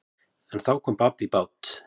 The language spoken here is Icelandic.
En þá kom babb í bát.